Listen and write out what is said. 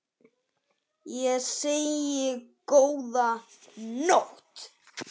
Ég segi: Góða nótt!